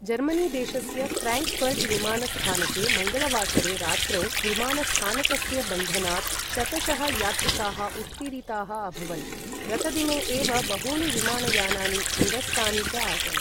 Germany देशस्य Frankfurt विमानस्थानके मङ्गलवासरे रात्रौ विमानस्थानकस्य बन्धनात् शतशः यात्रिकाः उत्तीरिताः अभवन्, गतदिने एव बहूनि विमानयानानि निरस्तानि च आसन्।